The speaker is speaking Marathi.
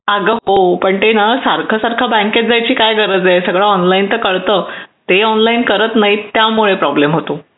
हो पण मग त्यासाठी बँकेत जाण्याची काय गरज आहे ते सगळं आपल्याला ऑनलाईन पण कळतं हे लोक ऑनलाईन करत नाही तो प्रॉब्लेम आहे